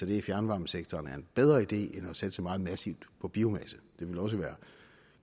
det i fjernvarmesektoren er en bedre idé end at satse meget massivt på biomasse det ville også være